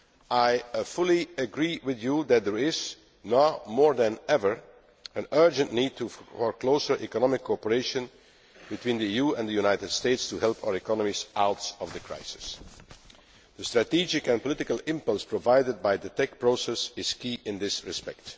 I fully agree with you that there is now more then ever an urgent need for closer economic cooperation between the EU and the United States to help our economies out of the crisis. The strategic and political impulse provided by the TEC process is key in this respect.